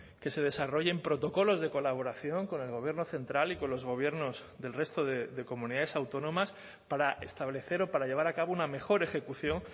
que se desarrollen protocolos de colaboración con el gobierno central y con los gobiernos del resto de comunidades autónomas para establecer o para llevar a cabo una mejor ejecución